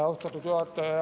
Austatud juhataja!